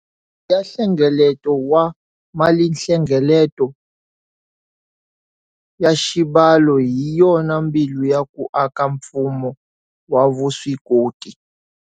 Ya nhlengeleto wa malinhlengeleto ya xibalo hi yona mbilu ya ku aka mfumo wa vuswikoti.